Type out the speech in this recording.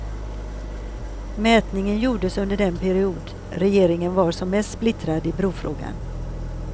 Mätningen gjordes under den period regeringen var som mest splittrad i brofrågan.